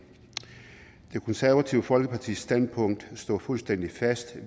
det konservative folkepartis standpunkt står fuldstændig fast